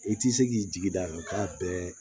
I ti se k'i jigi da kan k'a bɛɛ